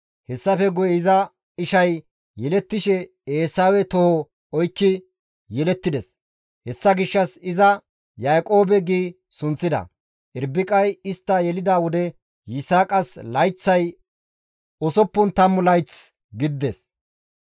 Hessafe guye, iza ishay yelettishe Eesawe toho oykki yelettides; hessa gishshas iza Yaaqoobe gi sunththida. Irbiqay istta yelida wode, Yisaaqas layththay usuppun tammu layththi gidides.